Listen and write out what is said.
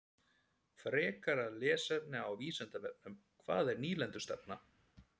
Frekara lesefni á Vísindavefnum: Hvað er nýlendustefna?